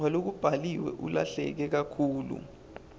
walokubhaliwe ulahleke kakhulu